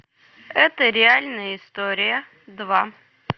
это реальная история два